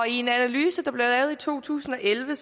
i en analyse der blev lavet i to tusind og elleve